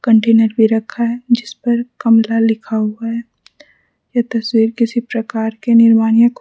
container भी पर रखा है जिस पर कमला लिखा हुआ है यह तस्वीर किसी प्रकार के निर्माण या --